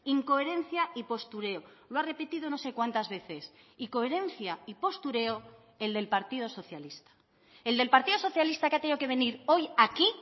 incoherencia y postureo lo ha repetido no sé cuántas veces y coherencia y postureo el del partido socialista el del partido socialista que ha tenido que venir hoy aquí